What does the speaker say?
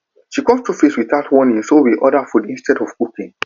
she come show face without warning so we order food instead of cooking